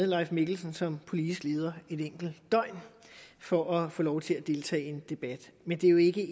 leif mikkelsen som politisk leder et enkelt døgn for at få lov til at deltage i en debat men det er jo ikke